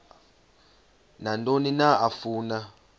nantoni na afuna